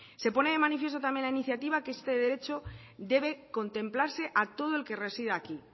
se pone de manifiesto también en la iniciativa que este derecho debe contemplarse a todo el que reside aquí